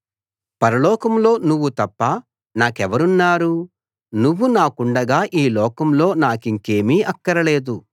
పరలోకంలో నువ్వు తప్ప నాకెవరున్నారు నువ్వు నాకుండగా ఈ లోకంలో నాకింకేమీ అక్కరలేదు